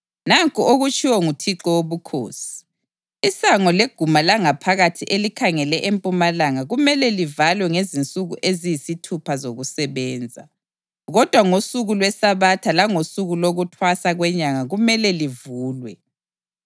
“ ‘Nanku okutshiwo nguThixo Wobukhosi: Isango leguma langaphakathi elikhangele empumalanga kumele livalwe ngezinsuku eziyisithupha zokusebenza, kodwa ngosuku lweSabatha langosuku lokuThwasa kweNyanga kumele livulwe.